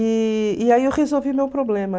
E e aí eu resolvi meu problema.